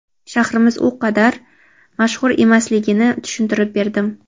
shahrimiz u qadar mashhur emasligini tushuntirib berdim.